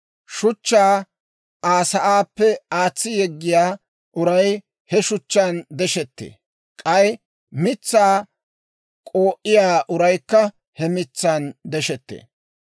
Shuchchaa Aa sa'aappe aatsi yeggiyaa uray he shuchchaan deshettee; k'ay mitsaa k'oo'iyaa uraykka he mitsan deshettee.